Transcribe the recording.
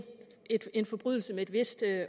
en forbrydelse af et vist